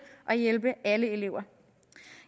at hjælpe alle elever